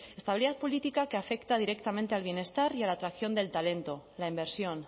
estabilidad política que afecta directamente al bienestar y a la atracción del talento la inversión